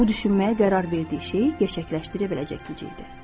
O düşməyə qərar verdiyi şeyi gerçəkləşdirə biləcək gücdə idi.